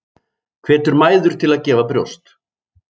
Hvetur mæður til að gefa brjóst